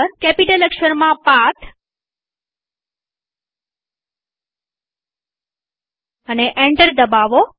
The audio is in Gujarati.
કેપિટલ અક્ષરમાં અને એન્ટર દબાવો